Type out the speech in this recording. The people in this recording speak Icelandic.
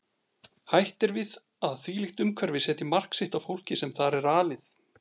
Hætt er við að þvílíkt umhverfi setji mark sitt á fólkið sem þar er alið.